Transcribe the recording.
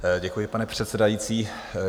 Děkuji, pane předsedající.